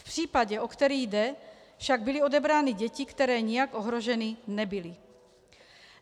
V případě, o který jde, však byly odebrány děti, které nijak ohroženy nebyly.